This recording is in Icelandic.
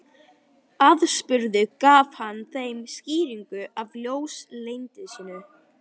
Aðspurður gaf hann þeim skýringu á ljósleysinu